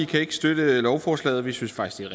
kan ikke støtte lovforslaget vi synes faktisk